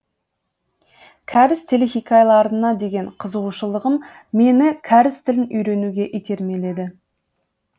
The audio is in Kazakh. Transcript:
кәріс телехикаяларына деген қызығушылығым мені кәріс тілін үйренуге итермеледі